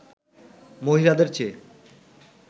মহিলাদের চেয়ে